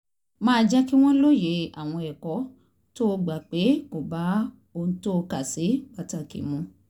máa jẹ́ kí wọ́n lóye àwọn ẹ̀kọ́ tó gbà pé kò bá ohun tó kà sí pàtàkì mu mu